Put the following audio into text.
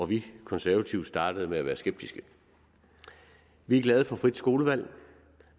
vi konservative startede med at være skeptiske vi er glade for frit skolevalg